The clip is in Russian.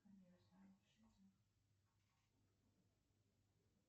салют найди все комедии выпущенные в две тысячи девятнадцатом году